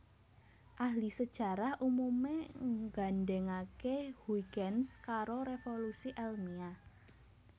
Ahli sajarah umumé nggandhèngaké Huygens karo révolusi èlmiah